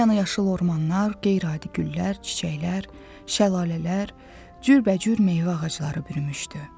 Hər yanı yaşıl ormanlar, qeyri-adi güllər, çiçəklər, şəlalələr, cürbəcür meyvə ağacları bürümüşdü.